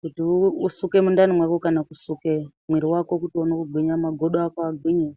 kuti usuke mundani mwako kana kusuke mwiiri wako uone kugwinya. Magodo ako agwinye.